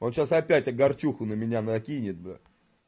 вот сейчас опять огорчуху на меня накинет бля